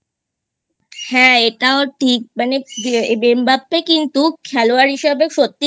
হ্যাঁ এটাও ঠিক মানে M Mbappe কিন্তু খেলোয়াড় হিসাবে সত্যিই